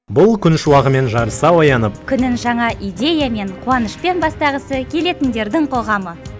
бұл күн шуағымен жарыса оянып күнін жаңа идеямен қуанышпен бастағысы келетіндердің қоғамы